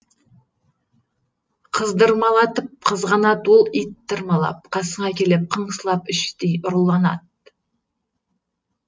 қыздырмалатып қызғанад ол ит тырмалап қасыңа келіп қыңсылап іштей ұрланад